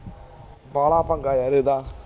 ਬਾਲਾ ਪੰਗਾ ਯਾਰ ਇਹਦਾ